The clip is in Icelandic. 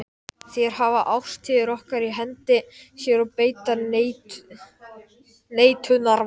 Þær hafa ástríður okkar í hendi sér og beita neitunarvaldi.